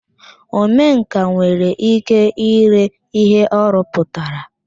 Omenkà nwere ike ire ihe ọ rụpụtara